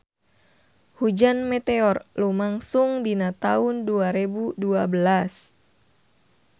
Hujan meteor lumangsung dina taun dua rebu dua belas